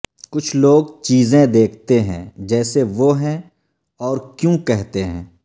کچھ لوگ چیزیں دیکھتے ہیں جیسے وہ ہیں اور کیوں کہتے ہیں